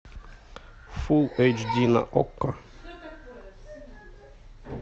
фул эйч ди на окко